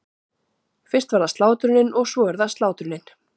Fyrst var það slátrunin- og svo er það slátrunin.